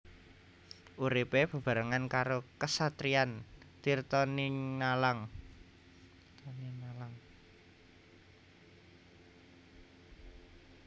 Uripé bebarengan karo Kasatriyan Tirtatinalang